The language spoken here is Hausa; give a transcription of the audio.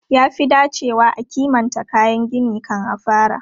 Ya fi dacewa a kimanta kayan gini kan a fara.